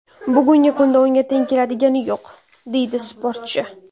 Bugungi kunda unga teng keladigani yo‘q”, deydi sportchi.